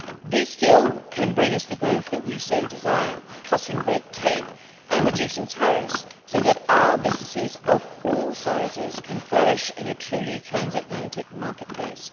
This deal can bring us the growth that we so desire, cutting red tape and reducing tariffs, so that our businesses of all sizes can flourish in a truly transatlantic marketplace.